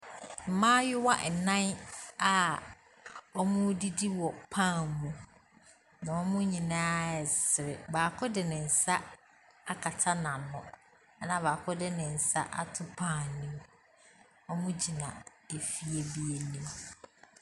Mmaayewa nnan a wɔredidi wɔ pan mu. Na wɔn nyinaa resere. Bako de ne nsa akata n’ano ɛna baako de ne nsa ato pan no mu. Wɔgyina efie bi anim.